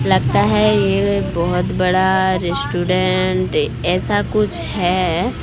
लगता है ये बहोत बड़ा रेस्टोरेंट ऐसा कुछ है।